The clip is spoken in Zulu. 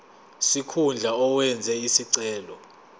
sikhundla owenze isicelo